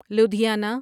Ludhiana